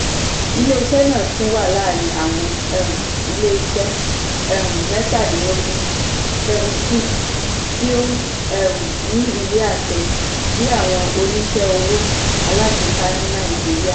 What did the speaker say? ilé-iṣẹ́ náà tún wà láàárín àwọn um ilé-iṣẹ́ um mẹ́tadínlógún ( seventeen ) ti o um ní ìwé-àṣẹ bí àwọn oníṣẹ́ owó alágbèéká ní nàìjíríà.